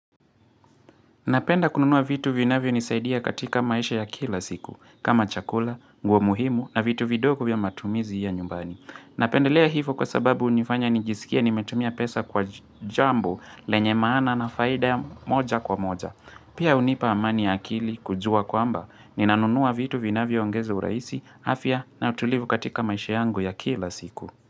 Napenda kununuwa vitu vinavyonisaidia katika maisha ya kila siku, kama chakula, nguo muhimu na vitu vidogo vya matumizi ya nyumbani. Napendelea hivo kwa sababu hunifanya nijisikie nimetumia pesa kwa jambo lenye maana na faida ya moja kwa moja. Pia hunipa amani ya akili kujua kwamba, ninanunuwa vitu vinavyoongeza uraisi, afya na utulivu katika maisha yangu ya kila siku.